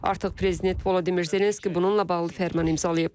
Artıq prezident Vladimir Zelenski bununla bağlı fərman imzalayıb.